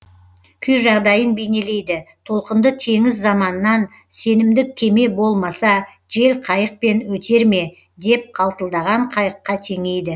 күй жағдайын бейнелейді толқынды теңіз заманнан сенімді кеме болмаса жел қайықпен өтер ме деп қалтылдаған қайыққа теңейді